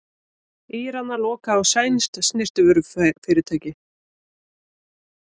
Íranar loka á sænskt snyrtivörufyrirtæki